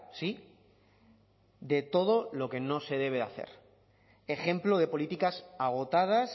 sí de todo lo que no se debe de hacer ejemplo de políticas agotadas